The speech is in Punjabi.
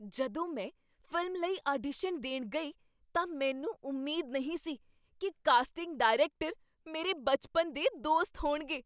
ਜਦੋਂ ਮੈਂ ਫ਼ਿਲਮ ਲਈ ਆਡੀਸ਼ਨ ਦੇਣ ਗਈ ਤਾਂ ਮੈਨੂੰ ਉਮੀਦ ਨਹੀਂ ਸੀ ਕੀ ਕਾਸਟਿੰਗ ਡਾਇਰੈਕਟਰ ਮੇਰੇ ਬਚਪਨ ਦੇ ਦੋਸਤ ਹੋਣਗੇ।